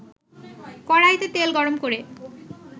কড়াইতে তেল গরম করে